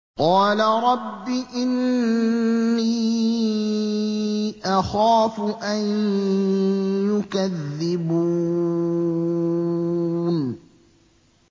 قَالَ رَبِّ إِنِّي أَخَافُ أَن يُكَذِّبُونِ